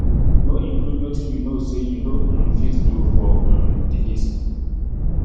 no include wetin you know say you no um fit do for um di list